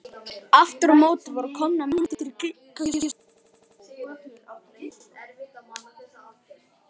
Aftur á móti voru komnar myndir í gluggakistuna.